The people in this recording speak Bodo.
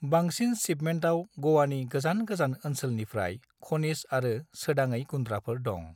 बांसिन शिपमेंटआव ग'वानि गोजान गोजान ओनसोलनिफ्राय खनिज आरो सोदाङै गुन्द्राफोर दं।